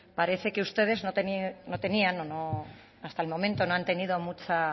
parece que ustedes no tenían o no hasta el momento no han tenido mucha